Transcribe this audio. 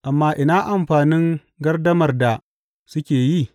Amma ina amfanin gardamar da kuke yi?